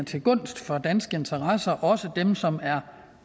til gunst for danske interesser også for dem som er